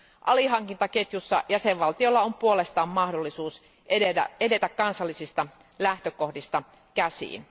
Alihankintaketjussa jäsenvaltiolla on puolestaan mahdollisuus edetä kansallisista lähtökohdista käsin.